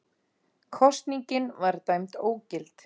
Kosningin var dæmd ógild